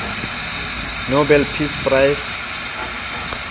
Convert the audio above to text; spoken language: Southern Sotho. nobel peace prize